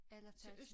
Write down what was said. Eller tage til